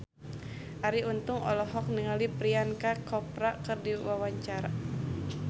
Arie Untung olohok ningali Priyanka Chopra keur diwawancara